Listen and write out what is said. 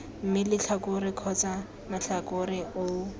mme letlhakore kgotsa matlhakore oo